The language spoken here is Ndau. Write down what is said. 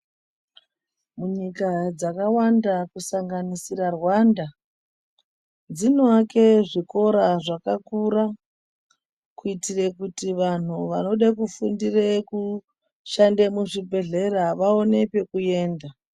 Munyika dzakawanda kusanganisira Rwanda , dzinoake zvikora zvakakura kuitire kuti vanhu vanode kufundire kushande muzvibhedhlera vaone kwekuenda